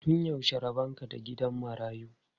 Tun yaushe rabon ka da gidan marayu?